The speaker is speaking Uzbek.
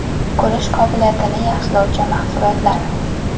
Ko‘rish qobiliyatini yaxshilovchi mahsulotlar.